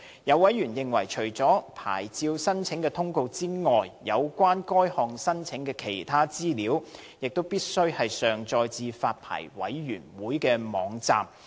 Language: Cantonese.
有委員認為，除了牌照申請的通告外，有關該項申請的其他資料，亦必須上載至發牌委員會的網站。